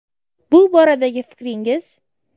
Bu boradagi fikringiz.